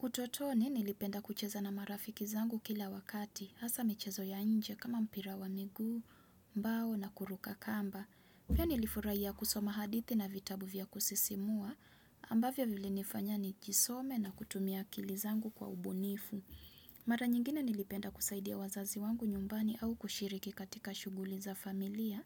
Utotoni nilipenda kucheza na marafiki zangu kila wakati, hasaa michezo ya nje kama mpira wa miguu, mbao na kuruka kamba. Poa nilifurahia kusoma hadithi na vitabu vya kusisimua, ambavyo vilinifanya nijisome na kutumia akili zangu kwa ubunifu. Mara nyingine nilipenda kusaidia wazazi wangu nyumbani au kushiriki katika shughuli za familia,